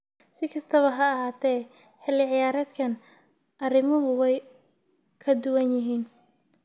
Si kastaba ha ahaatee, xilli ciyaareedkan arrimuhu way ka duwan yihiin.